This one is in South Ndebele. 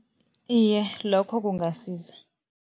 Iye, lokho kungasiza.